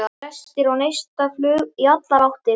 Brestir og neistaflug í allar áttir.